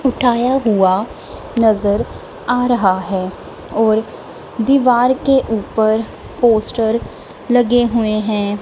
उठाया हुआ नजर आ रहा है और दीवार के ऊपर पोस्टर लगे हुए हैं।